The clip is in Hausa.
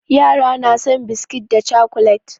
Yara na son biskit da cakulet.